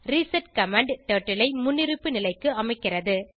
reset command turtle ஐ முன்னிருப்பு நிலைக்கு அமைக்கிறது